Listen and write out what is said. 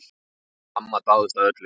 Amma dáðist að öllu.